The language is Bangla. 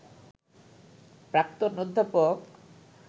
প্রাক্তন অধ্যাপক